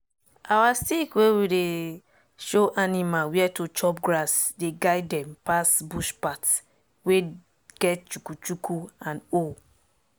our stick wey we take dey show animal where to chop grass dey guide dem pass bush path wey get chuku chuku and hole.